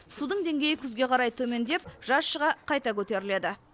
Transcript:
судың деңгейі күзге қарай төмендеп жаз шыға қайта көтеріледі